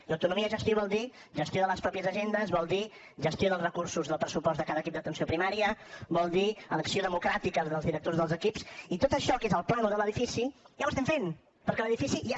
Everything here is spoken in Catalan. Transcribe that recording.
i autonomia de gestió vol dir gestió de les pròpies agendes vol dir gestió dels recursos del pressupost de cada equip d’atenció primària vol dir elecció democràtica dels directors dels equips i tot això que és el plànol de l’edifici ja ho estem fent perquè l’edifici ja